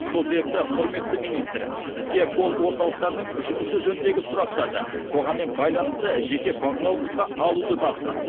сол себепті құрметті министр сізге колл орталықтардың жұмысы жөніндегі сұрақтарды қоғаммен байланысты жеке бақылауыңызға алуды тапсырамын